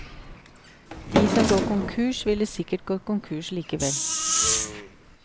De som går konkurs, ville sikkert gått konkurs likevel.